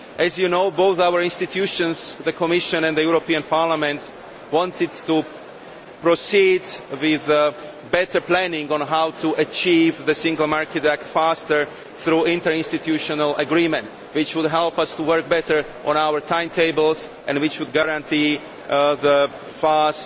As you know both of our institutions the Commission and the European Parliament wanted to proceed with better planning on how to achieve the Single Market Act faster through interinstitutional agreements, which would help us to work better on our timetables and which would guarantee the